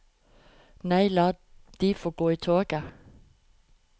Nei, la de få gå i toget.